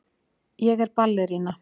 Ég er ballerína.